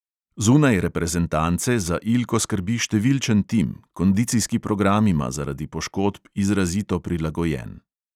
Zunaj reprezentance za ilko skrbi številčen tim, kondicijski program ima zaradi poškodb izrazito prilagojen.